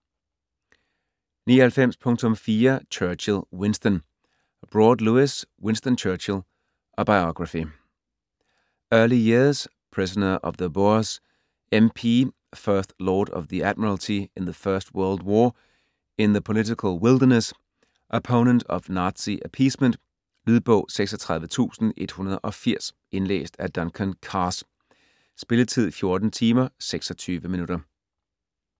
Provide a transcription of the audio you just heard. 99.4 Churchill, Winston Broad, Lewis: Winston Churchill: a biography Early years; prisoner of the Boers; MP; First Lord of the Admiralty in the First World War; in the political wilderness; opponent of Nazi appeasement. Lydbog 36180 Indlæst af Duncan Carse. Spilletid: 14 timer, 26 minutter.